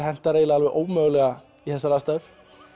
hentar eiginlega alveg ómögulega í þessar aðstæður